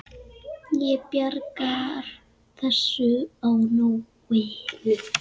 Ég bjargar þessu á nóinu.